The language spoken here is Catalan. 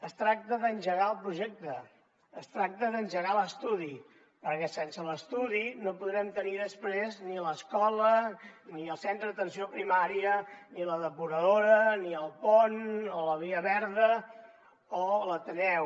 es tracta d’engegar el projecte es tracta d’engegar l’estudi perquè sense l’estudi no podrem tenir després ni l’escola ni el centre d’atenció primària ni la depuradora ni el pont o la via verda ni l’ateneu